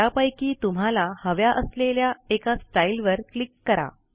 त्यापैकी तुम्हाला हव्या असलेल्या एका स्टाईलवर क्लिक करा